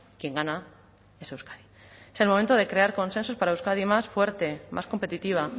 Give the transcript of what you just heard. quien gana es euskadi es el momento de crear consensos para euskadi más fuerte más competitiva